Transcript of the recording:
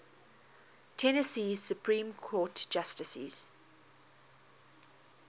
tennessee supreme court justices